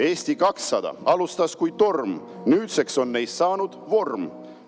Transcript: Eesti 200 alustas kui torm, nüüdseks on neist saanud vorm.